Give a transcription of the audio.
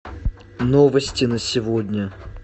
новости на сегодня